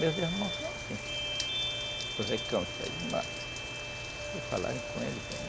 Meus irmãos são assim, se falarem com ele, bem.